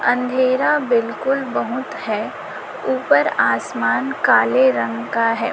अंधेरा बिल्कुल बहुत हैं ऊपर आसमान काले रंग का है।